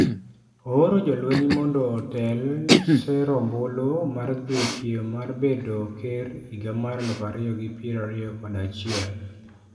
Ooro jolweny mondo otel sero ombulu mar dhi e piem mar bedo ker higa mar 2021.